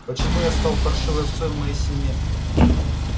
почему я стал паршивой овцой в моей семье